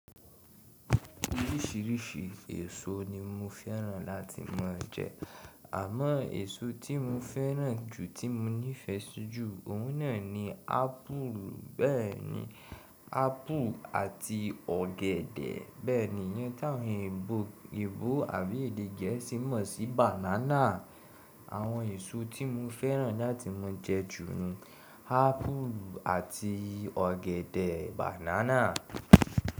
Oríṣìíríṣìí èso ni mo fẹ́ràn láti máa jẹ. Àmọ́ èso tí mo fẹ́ràn jù tí mo nífẹ̀ si jù, òun náà ni ápù. Bẹ́ẹ̀ni, ápù àti ọ̀gẹ̀dẹ̀. Bẹ́ẹ̀ni, ìyẹn táwọn èèbó àbí èdè Gẹ̀ẹ́sì mọ̀ sí bànánà. Àwọn èso tí mo fẹ́ràn láti máa jẹ jù ni ápù àti ọ̀gẹ̀dẹ̀, bànánà.